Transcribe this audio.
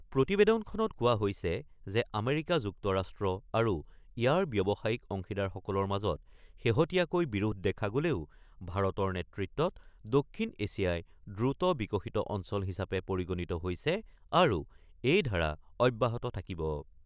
প্ৰতিবেদনখনত কোৱা হৈছে যে আমেৰিকা যুক্তৰাষ্ট্ৰ আৰু ইয়াৰ ব্যৱসায়িক অংশীদাৰ সকলৰ মাজত শেহতীয়াকৈ বিৰোধ দেখা গ'লেও ভাৰতৰ নেতৃত্বত দক্ষিণ এছিয়াই দ্ৰুত বিকশিত অঞ্চল হিচাপে পৰিগণিত হৈছে আৰু এই ধাৰা অব্যাহত থাকিব।